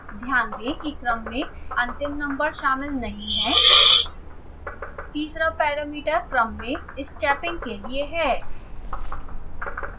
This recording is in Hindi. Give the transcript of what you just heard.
ध्यान दें कि क्रम में अंतिम नम्बर शामिल नहीं है